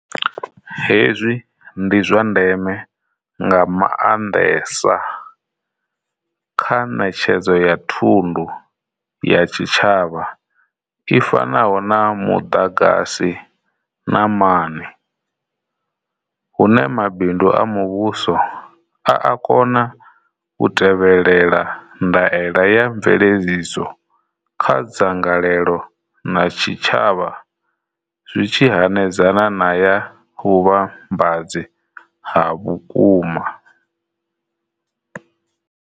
Hezwi ndi zwa ndeme nga maandesa kha netshedzo ya thundu ya tshitshavha i fanaho na mudagasi na mani, hune Mabindu a Muvhuso a a kona u tevhelela ndaela ya mveledziso kha dzangalelo na tshitshavha zwi tshi hanedzana na ya vhuvhambadzi ha vhukuma.